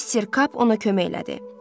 Mister Kap ona kömək elədi.